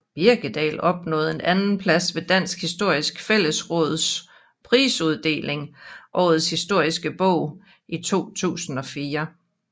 Birkedal opnåede en andenplads ved Dansk Historisk Fællesråds prisuddeling Årets historiske bog i 2004